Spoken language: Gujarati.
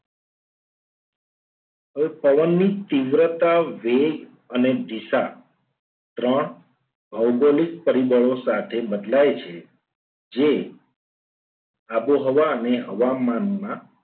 હવે પવનની તીવ્રતા વેગ અને દિશા ત્રણ ભૌગોલિક પરિબળો સાથે બદલાય છે. જે આબોહવા અને હવામાનના